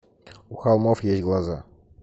у холмов есть глаза